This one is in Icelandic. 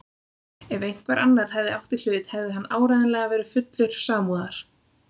Ef einhver annar hefði átt í hlut hefði hann áreiðanlega verið fullur samúðar.